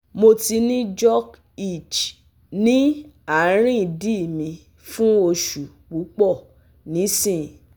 Mo ti ni jock itch ni arin idi mi fun oṣu pupọ nisin